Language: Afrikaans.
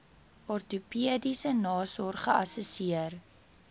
ortopediese nasorg geassesseer